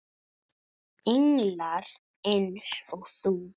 Englar eins og þú.